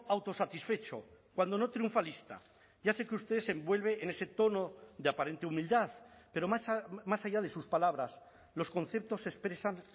autosatisfecho cuando no triunfalista ya sé que usted se envuelve en ese tono de aparente humildad pero más allá de sus palabras los conceptos expresan